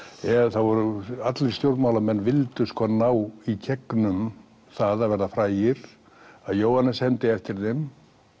þá voru allir stjórnmálamenn sem vildu ná í gegnum það að verða frægir að Jóhannes hermdi eftir þeim